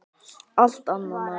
Allt annað mál.